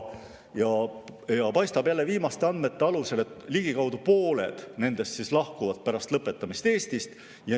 Paistab jälle viimaste andmete alusel, et ligikaudu pooled nendest lahkuvad pärast lõpetamist Eestist.